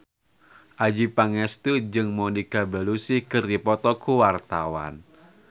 Adjie Pangestu jeung Monica Belluci keur dipoto ku wartawan